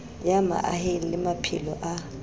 ya mahaeng le maphelo a